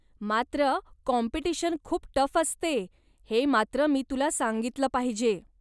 मात्र, काॅम्पिटिशन खूप टफ असते हे मात्र मी तुला सांगितलं पाहिजे.